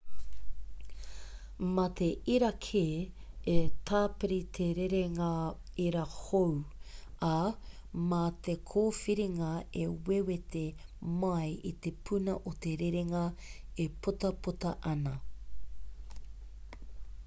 mā te irakē e tāpiri te rerenga ira hou ā mā te kōwhiringa e wewete mai i te puna o te rerenga e putaputa ana